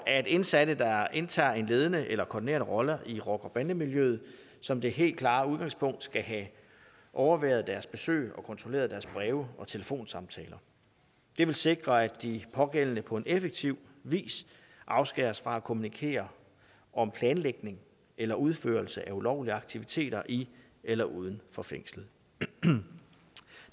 at indsatte der indtager en ledende eller koordinerende rolle i rocker bande miljøet som det helt klare udgangspunkt skal have overværet deres besøg og kontrolleret deres breve og telefonsamtaler det vil sikre at de pågældende på en effektiv vis afskæres fra at kommunikere om planlægning eller udførelse af ulovlige aktiviteter i eller uden for fængslet det